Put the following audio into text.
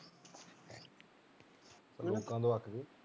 ਹਮ ਲੋਕਾਂ ਤੋਂ ਅੱਕ ਗਏ